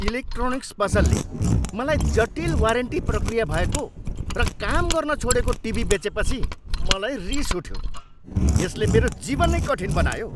Electronics पसलले मलाई जटिल वारेन्टी प्रक्रिया भएको र काम गर्न छाडेको टिभी बेचेपछि मलाई रिस उठ्यो, यसले मेरो जीवन नै कठिन बनायो।